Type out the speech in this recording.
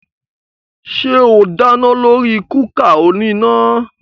Ṣé o dáná lórí kúkà oníná?